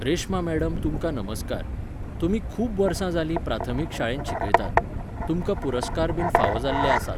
Reshma madam तुमकां नमस्कार. तुमी खूब वर्सां जालीं प्राथमीक शाळेंत शिकयतात. तुमकां पुरस्कार बीन फावो जाल्ले आसात